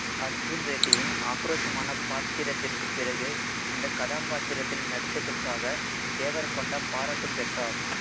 அர்ஜுன் ரெட்டியில் ஆக்ரோஷமான பாத்திரத்திற்குப் பிறகு இந்தக் கதாபாத்திரத்தில் நடித்ததற்காக தேவரகொண்டா பாராட்டு பெற்றார்